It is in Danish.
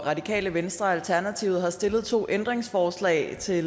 radikale venstre og alternativets stillet to ændringsforslag til